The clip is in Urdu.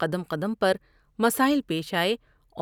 قدم قدم پرمسائل پیش آٮٔے